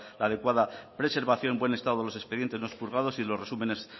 adecuada preservación buen estado de los expedientes no expurgados y los resúmenes